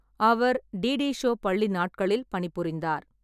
அவர் DD show பள்ளி நாட்களில் பணிபுரிந்தார்.